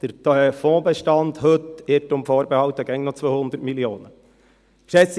der Fondsbestand heute – Irrtum vorbehalten – beträgt immer noch 200 Mio. Franken.